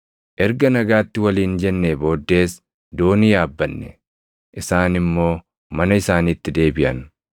Erga nagaatti waliin jennee booddees doonii yaabbanne; isaan immoo mana isaaniitti deebiʼan.